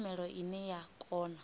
na tshumelo ine ya kona